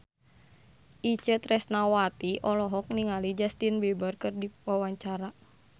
Itje Tresnawati olohok ningali Justin Beiber keur diwawancara